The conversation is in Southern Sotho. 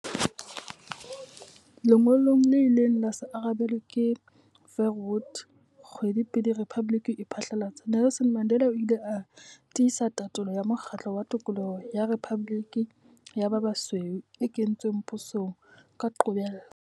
Lengolong le ileng la se arabelwe ke Verwoerd kgwedi pele rephaboliki e phatlalatswa, Nelson Mandela o ile a tiisa tatolo ya mokgatlo wa tokoloho ya rephaboliki ya ba basweu e kentsweng pusong ka qobello.